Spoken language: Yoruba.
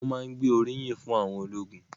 Wọ́n má ń gbé oríyìn fún àwọn ológun